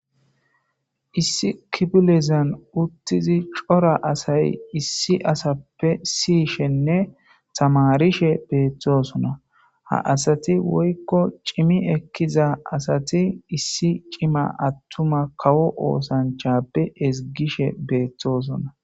Issi kipilezan uttizi cora asay issi asappe siyishenne tamarishe beeththosona ha asati woykko cimi ekkiza asati issi cima attuma kawo oosanchappe ezgishe beeththosona.